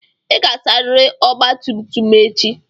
Ị ga-asarịrị ọgba tum tum m echi.